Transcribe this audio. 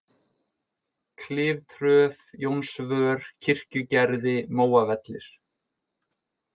Kliftröð, Jónsvör, Kirkjugerði, Móavellir